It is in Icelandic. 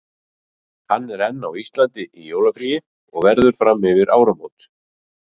Hann er enn á Íslandi í jólafríi og verður fram yfir áramót.